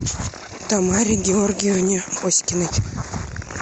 тамаре георгиевне оськиной